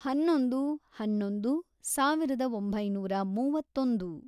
ಹನ್ನೊಂದು, ಹನ್ನೊಂದು, ಸಾವಿರದ ಒಂಬೈನೂರ ಮೂವತ್ತೊಂದು